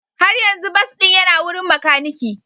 Har yanzu bas ɗin yana wurin makaniki.